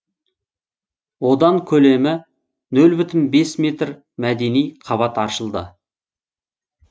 одан көлемі нөл бүтін бес метр мәдени қабат аршылды